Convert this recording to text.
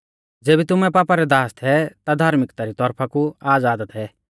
ज़ेबी तुमै पापा रै दास थै ता धार्मिक्ता री तौरफा कु आज़ाद थै